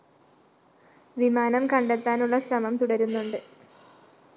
വിമാനം കണ്ടെത്താനുള്ള ശ്രമം തുടരുന്നുണ്ട്‌